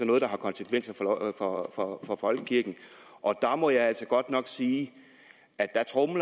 noget der har konsekvenser for for folkekirken og jeg må altså godt nok sige